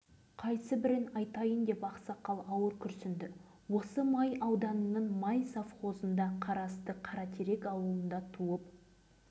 сәлден кейін өзіне-өзі келген ол көзінің жасын сүртіп менің аты-жөнім солтанбекова жібек